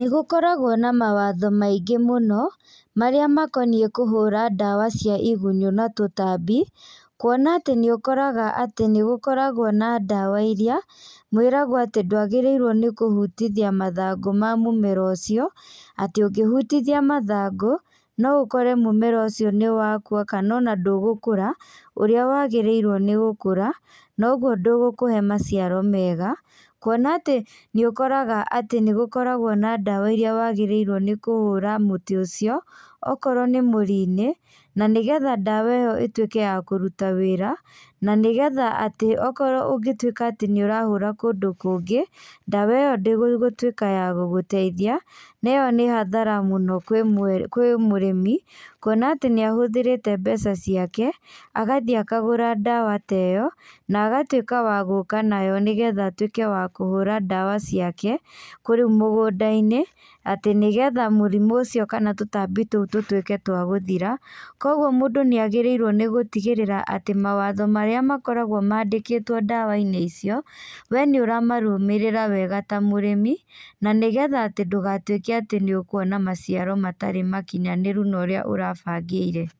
Nĩ gũkoragwo na mawatho maingĩ mũno marĩa makoniĩ kũhũra ndawa cia igunyũ na tũtambi, kũona atĩ nĩ ũkoraga atĩ nĩgũkoragwo na ndawa iria mwĩragwo atĩ ndũagĩrĩrwo nĩ kũhutithia mathangũ ma mũmera ũcio, atĩ ũngĩhutithia mathangũ no ũkore mũmera ũcio nĩ wa kũa kana ona ndũgũkũra ũrĩa wagĩrĩirwo nĩ gũkũra, nogũo ndũgũkũhe maciaro mega, kũona ati nĩũkoraga atĩ nĩgũkoragwo na ndawa iria wagĩrĩrwo nĩ kũhũra mũtĩ ũcio o korwo nĩ mũri-inĩ na nĩgetha ndawa iyo itũĩke ya kũrũta wĩra, na nĩ getha atĩ o korwo ũngĩtwĩka atĩ nĩũrahũra kũndũ kũngĩ ndawa ĩyo ndĩgũtwĩka ya gũgũteithia neĩyo nĩ hathara kwĩ mũrĩmi kũona atĩ nĩ ahũthĩrĩte mbeca ciake agathiĩ akagũra ndawa ta iyo na agatwĩka wa gũka nayo nĩgetha atũĩke wa kũhũra ndawa ciake kũrĩ kũu mũgũnda-inĩ atĩ nĩgetha mũrimũ ũcio kana tũtambi tũu tũtwĩke twa gũthira kogũo mũndũ nĩagĩrĩirwo gũtigĩrĩra atĩ mawatho marĩa makoragwo mandĩkĩtwo ndawa inĩ icio we nĩ ũramarũmĩrĩra wega ta mũrĩmi na nĩgetha atĩ ndũgatwĩke atĩ nĩũkũona maciaro matarĩ makinyanĩru ũrĩa ũrabangĩire